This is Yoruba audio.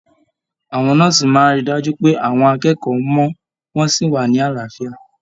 Àwọn nọ́ọ́sì máa rí dájú pé àwọn akẹ́kọ̀ọ́ mọ, wọn sí wá ní àlàáfíà.